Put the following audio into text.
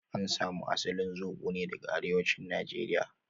An samu asalin zobo ne daga arewacin nigeria